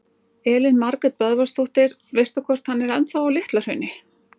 Elín Margrét Böðvarsdóttir: Veistu hvort hann er ennþá á Litla-Hrauni?